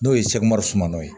N'o ye sumana ye